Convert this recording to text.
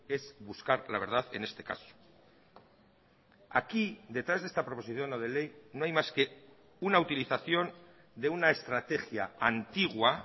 es buscar la verdad en este caso aquí detrás de esta proposición no de ley no hay más que una utilización de una estrategia antigua